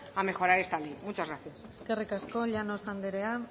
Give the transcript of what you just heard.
a mejorar esta ley muchas gracias eskerrik asko llanos anderea